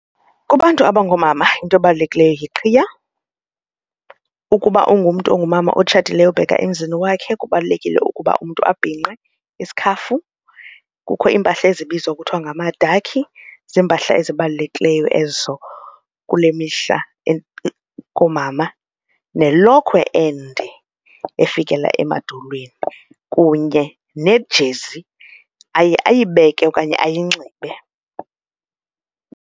Kubantu abangoomama into ebalulekileyo yiqhayiya, ukuba ungumntu ongumama otshatileyo obheka emzini wakhe kubalulekile ukuba umntu abhinqe isikhafu. Kukho iimpahla ezibizwa kuthiwa ngamadakhi ziimpahla ezibalulekileyo ezo kule mihla koomama, nelokhwe ende efikela emadolweni kunye nejezi ayibeke okanye ayinxibe.